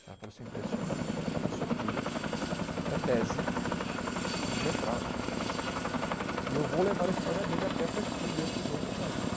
Ela falou assim, impressionante, o seu filho é tese de mestrado, e eu vou levar a história dele até para estudo entre os outros médicos.